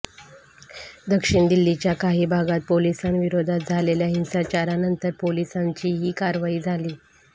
दक्षिण दिल्लीच्या काही भागात पोलिसांविरोधात झालेल्या हिंसाचारानंतर पोलिसांची ही कारवाई झाली